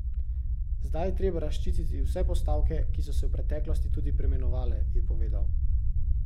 Zdaj je treba razčistiti vse postavke, ki so se v preteklosti tudi preimenovale, je povedal.